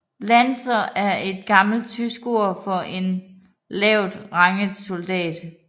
Landser er et gammelt tysk ord for en lavt rangeret soldat